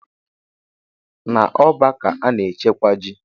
Na ọ́bà ka ana-echekwa ji.